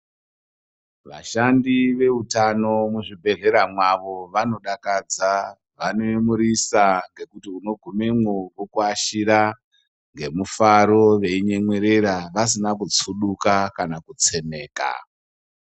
Vashandi ve utano mu zvibhedhlera mwavo vano dakadza vano yemurisa ngekuti uno gumemwo voku yashira nge mufaro vei nyemwerera vasina kutsuduka kana ku tsemeka.